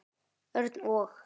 Örn og